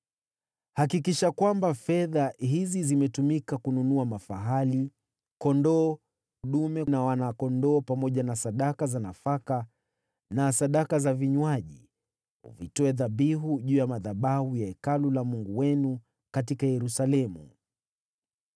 Hakikisha kwamba fedha hizi zimetumika kununua mafahali, kondoo dume na wana-kondoo pamoja na sadaka za nafaka na sadaka za vinywaji, uvitoe dhabihu juu ya madhabahu ya Hekalu la Mungu wenu katika Yerusalemu.